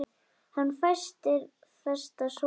En fæstir feta svo langt.